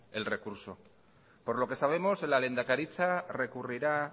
el recurso por lo que sabemos la lehendakaritza recurrirá